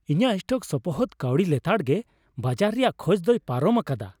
ᱤᱧᱟᱹᱜ ᱥᱴᱚᱠ ᱥᱚᱯᱚᱦᱚᱫ ᱠᱟᱹᱣᱰᱤ ᱞᱮᱛᱟᱲᱜᱮ ᱵᱟᱡᱟᱨ ᱨᱮᱭᱟᱜ ᱠᱷᱚᱡ ᱫᱚᱭ ᱯᱟᱨᱚᱢ ᱟᱠᱟᱫᱟ ᱾